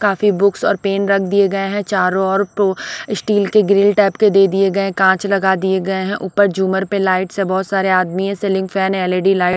काफी बुक्स और पेन रख दिए गए हैं चारों ओर तो स्टील के ग्रिल टाइप के दे दिए गए कांच लगा दिए गए हैं ऊपर झूमर पे लाइट्स हैं बहोत सारे आदमी है सीलिंग फैन एल_इ_डी लाइट --